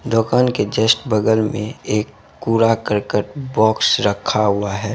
दुकान के जस्ट बगल मे एक कूड़ा करकट बॉक्स रखा हुआ है।